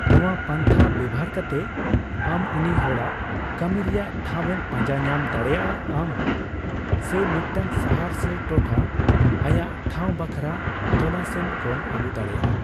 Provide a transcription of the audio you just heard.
ᱱᱚᱣᱟ ᱯᱟᱱᱛᱷᱟ ᱵᱮᱣᱦᱟᱨ ᱠᱟᱛᱮ, ᱟᱢ ᱩᱱᱤ ᱦᱚᱲᱟᱜ ᱠᱟᱹᱢᱤ ᱨᱮᱭᱟᱜ ᱴᱷᱟᱣ ᱮᱢ ᱯᱟᱡᱟᱸ ᱧᱟᱢ ᱫᱟᱲᱮᱭᱟᱜ ᱟᱢ ᱥᱮ ᱢᱤᱫᱴᱟᱝ ᱥᱟᱦᱟᱨ ᱥᱮ ᱴᱚᱴᱷᱟ ᱟᱭᱟᱜ ᱴᱷᱟᱣ ᱵᱟᱠᱷᱨᱟ ᱛᱚᱞᱟᱥ ᱮᱢ ᱠᱚᱢ ᱟᱜᱩ ᱫᱟᱲᱮᱭᱟᱜᱼᱟ ᱾